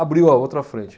Abriu a outra frente.